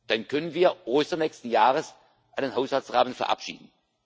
Dann können wir Ostern nächsten Jahres einen Haushaltsrahmen verabschieden.